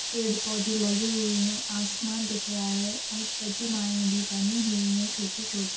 पेड़-पौधे लगे हुए हैं आसमान दिख रहा है और प्रतिमाएँ भी बनी हुई हैं छोटी-छोटी।